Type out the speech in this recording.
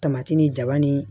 Tamati ni jaba ni